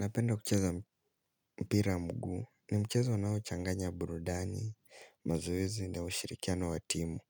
Napenda kucheza mpira mguu, ni mchezo nao changanya burudani, mazoezi na ushirikiano wa timu.